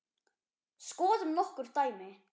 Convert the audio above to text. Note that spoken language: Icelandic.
Skoðum nokkur dæmi.